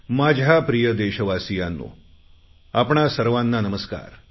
माझ्या प्रिय देशवासीयांनो आपणा सर्वांना नमस्कार